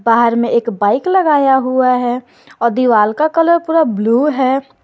बाहर में एक बाइक लगाया हुआ है और दीवार का कलर पूरा ब्लू है।